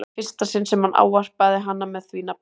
Það var í fyrsta sinn sem hann ávarpaði hana með því nafni.